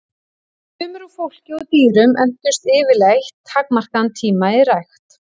Frumur úr fólki og dýrum entust yfirleitt takmarkaðan tíma í rækt.